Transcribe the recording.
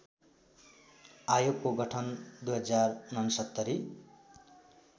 आयोगको गठन २०६९